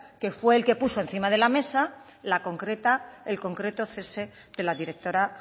que fue quien puso encima de la mesa la concreta el concreto cese de la directora